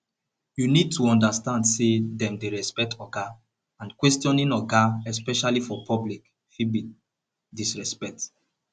you need to understand sey dem dey respect oga and questioning oga especially for public fit be disrespect